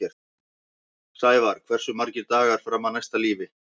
Sævarr, hversu margir dagar fram að næsta fríi?